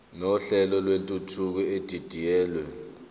nohlelo lwentuthuko edidiyelwe